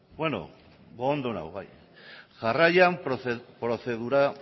jarraian prozedura